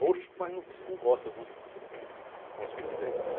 Roxo, mas não, num gosta do nosso presidente, né?